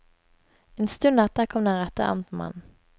En stund etter kom den rette amtmannen.